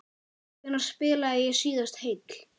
Hvenær spilaði ég síðast heill?